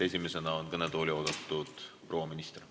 Esimesena on kõnetooli oodatud proua minister.